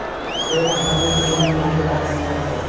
Ukraina harbiy hujumni rejalashtirmayapti.